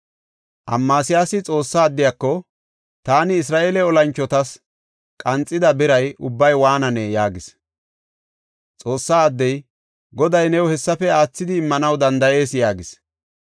Amasiyaasi Xoossa addiyako, “Taani Isra7eele olanchotas qanxida biray ubbay waananee?” yaagis. Xoossa addey, “Goday new hessafe aathidi immanaw danda7ees” yaagis.